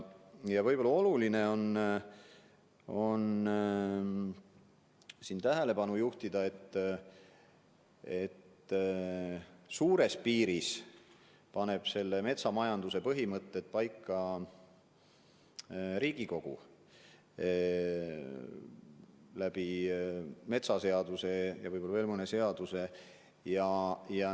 Võib-olla on oluline tähelepanu juhtida sellele, et suurtes piirides paneb metsamajanduse põhimõtted paika Riigikogu metsaseadusega ja võib-olla veel mõne seadusega.